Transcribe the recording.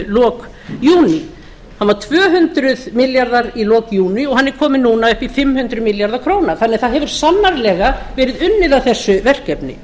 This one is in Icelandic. lok júní hann var tvö hundruð milljarðar í lok júní en hann er kominn núna upp í fimm hundruð milljarða króna svo það hefur sannarlega verið unnið að þessu verkefni